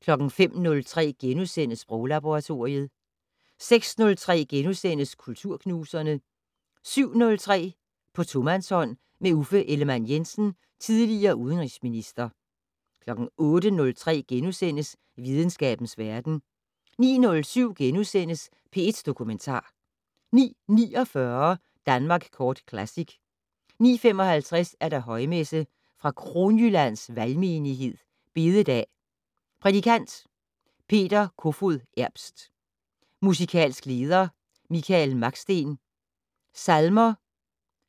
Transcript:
05:03: Sproglaboratoriet * 06:03: Kulturknuserne * 07:03: På tomandshånd med Uffe Ellemann-Jensen, tidl. udenrigsminister 08:03: Videnskabens verden * 09:07: P1 Dokumentar * 09:49: Danmark Kort Classic 09:55: Højmesse - Fra Kronjyllands Valgmenighed. Bededag. Prædikant: Peter Kofoed Erbst. Musikalsk leder: Michael Maksten. Salmer: